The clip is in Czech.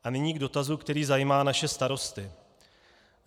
A nyní k dotazu, který zajímá naše starosty.